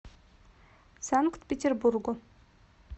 санкт петербургу